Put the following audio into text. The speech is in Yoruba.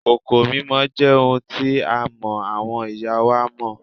Kòkò mímọ jẹ́ ohun tí a mọ àwọn ìyá wa mọ́